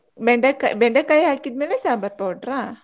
ಬೆಂಡೆಕಾಯಿ ಬೆಂಡೆಕಾಯಿ ಹಾಕಿದ್ಮೇಲೆ ಸಾಂಬಾರ್ powder ಆ?